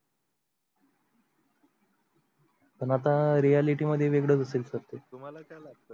पण आता reality मध्ये वेगळ receive करते तुम्हाला काय लागत?